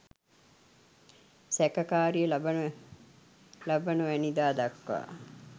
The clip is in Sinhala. සැකකාරිය ලබනවැනිදා දක්වා